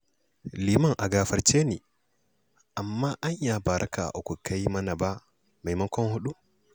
Liman a gafarce ni, amma anya ba raka'a uku ka yi mana ba maimakon huɗu?